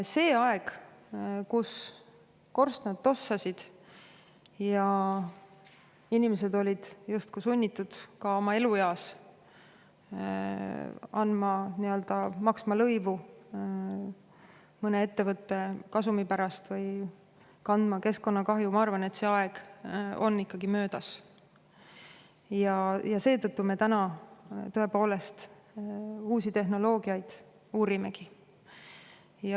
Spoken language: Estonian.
See aeg, kui korstnad tossasid ja inimesed olid justkui sunnitud oma elueas maksma lõivu mõne ettevõtte kasumi pärast või kandma keskkonnakahju, ma arvan, on ikkagi möödas ja seetõttu me uusi tehnoloogiaid praegu tõepoolest uurimegi.